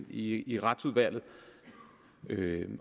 i i retsudvalget